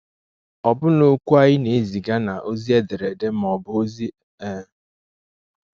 Ọbụna okwu anyị na-eziga na ozi ederede ma ọ bụ ozi-e.